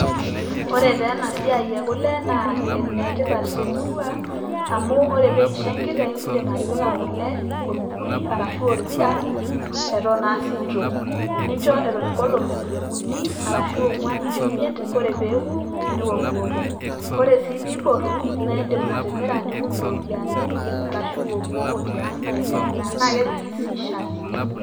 ore taa ena siai ee kule naa enetipat te murua, amu ore pee eisho enkiteng' indim atipika kule enkukuri ashu orpira eton aa sikitok. ninjo eton inkolong' i uni arashu ong'uan ashu imiet ore pee eku niokioko. ore sii pee eiboru naa indim atimira nitum iropiyiani arashu iokiok tiang' aitaa endaa na kepiki sii shaai.